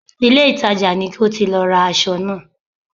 Ìlé-ìtajà ni ko ti lọ ra aṣọ náà